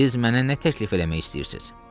siz mənə nə təklif eləmək istəyirsiz?